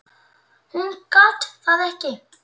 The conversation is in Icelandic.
Hún gat það ekki.